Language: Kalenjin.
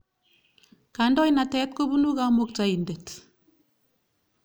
Kandoinatet kopunu Kamuktaindet.